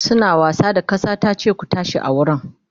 suna wasa da kasa tace da su "ku tashi a wurin!"